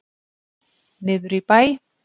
Niður í bæ?